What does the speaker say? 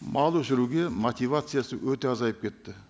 мал өсіруге мотивациясы өте азайып кетті